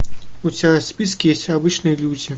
у тебя в списке есть обычные люди